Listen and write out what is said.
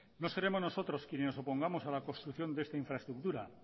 no seremos nosotros quienes nos opongamos a la construcción de esta infraestructura